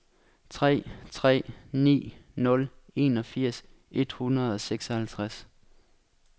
tre tre ni nul enogfirs et hundrede og seksoghalvtreds